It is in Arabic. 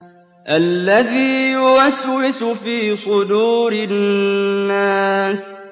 الَّذِي يُوَسْوِسُ فِي صُدُورِ النَّاسِ